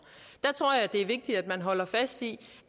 der tror jeg det er vigtigt at man holder fast i